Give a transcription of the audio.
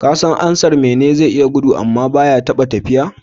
Kasan ansar "Mene ne zai iya gudu amma baya taɓa tafiya"?